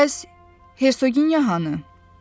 Bəs Hersoginya hanı?